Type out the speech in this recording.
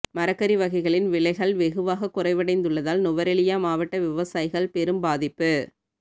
மரக்கறி வகைகளின் விலைகள் வெகுவாகக் குறைவடைந்துள்ளதால் நுவரெலியா மாவட்ட விவசாயிகள் பெரும் பாதிப்பு